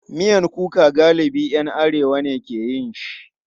Miyan kuka galibi ‘yan arewa ne ke yin shi.